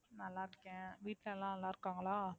நல்லாருக்கேன் வீட்ல எல்லாரும் நல்லாருக்காங்களா?